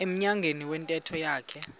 emnyango wentente yakhe